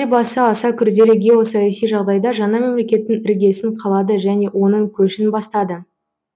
елбасы аса күрделі геосаяси жағдайда жаңа мемлекеттің іргесін қалады және оның көшін бастады